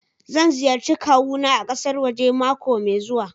Zan ziyarci kawuna a kasar waje mako mai zuwa.